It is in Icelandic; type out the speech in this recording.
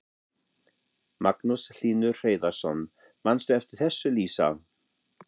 Magnús Hlynur Hreiðarsson: Manstu eftir þessu Lísa?